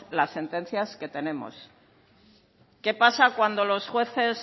las sentencias que tenemos qué pasa cuando los jueces